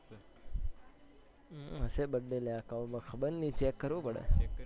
અમ હશે birthday અલ્યા ખબર નઈ check કરવું પડે